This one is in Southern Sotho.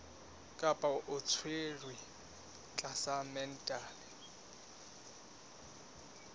kapa o tshwerwe tlasa mental